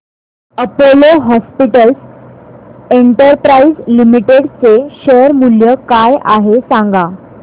Apollo Hospitals Enterprise Limited चे share मूल्य काय आहे सांगा